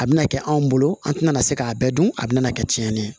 A bɛna kɛ anw bolo an tɛna se k'a bɛɛ dun a bɛna kɛ tiɲɛni ye